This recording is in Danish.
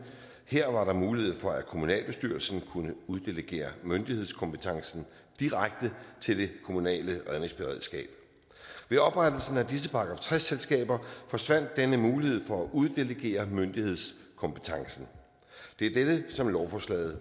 her var der mulighed for at kommunalbestyrelsen kunne uddelegere myndighedskompetencen direkte til det kommunale redningsberedskab ved oprettelsen af disse § tres selskaber forsvandt denne mulighed for at uddelegere myndighedskompetencen det er dette som lovforslaget